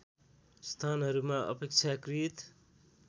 स्थानहरूमा अपेक्षाकृत